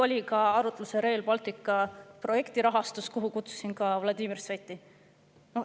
Teiseks oli arutlusel Rail Balticu projekti rahastus, sellele arutelule kutsusin ka Vladimir Sveti.